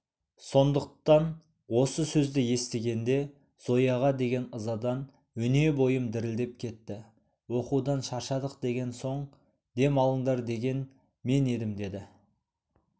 сондықтан осы сөзді естігенде зояға деген ызадан өне бойым дірілдеп кетті оқудан шаршадық деген соң дем алыңдар деген мен едім деді